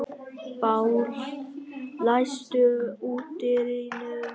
Páll, læstu útidyrunum.